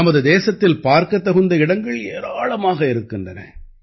நமது தேசத்தில் பார்க்கத் தகுந்த இடங்கள் ஏராளமாக இருக்கின்றன